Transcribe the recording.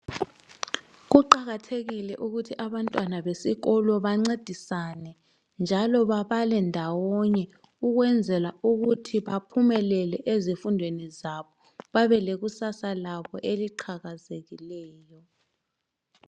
Kuqakathekile ukuthi abantwana besikolo bencedisane njalo babale ndawonye ukwenzela ukuthi baphumelele ezifundweni zabo babelekusasa labo eliqhakazekileyo